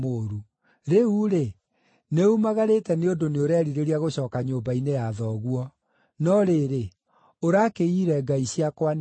Rĩu-rĩ, nĩumagarĩte nĩ ũndũ nĩũrerirĩria gũcooka nyũmba-inĩ ya thoguo. No rĩrĩ, ũrakĩiyire ngai ciakwa nĩkĩ?”